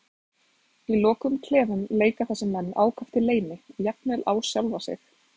Í lokuðum klefum leika þessir menn ákaft í leyni, jafnvel á sjálfa sig.